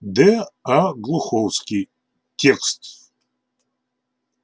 д а глуховский текст